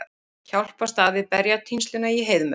Hjálpast að við berjatínsluna í Heiðmörk